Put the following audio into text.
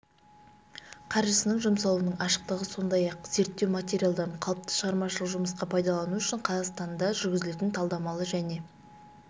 қаржысының жұмсалуының ашықтығы сондай-ақ зерттеу материалдарын қалыпты шығармашылық жұмысқа пайдалану үшін қазақстанда жүргізілетін талдамалы және